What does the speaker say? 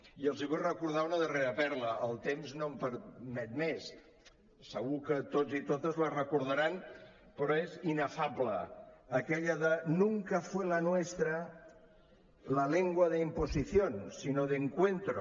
i els vull recordar una darrera perla el temps no me’n permet més segur que tots i totes la recordaran però és inefable aquella de nunca fue la nuestra la lengua de imposición sino de encuentro